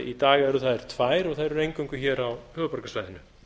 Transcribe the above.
í dag eru þær tvær og eru eingöngu hér á höfuðborgarsvæðinu